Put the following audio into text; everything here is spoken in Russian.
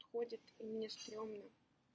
ходит и мне страшно